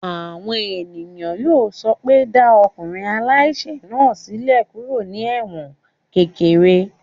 Àwọn èèyàn yóò sọ pé dá ọkùnrin aláìsẹ̀ náà sílẹ̀ kúrò ní ẹ̀wọ̀n kékeré!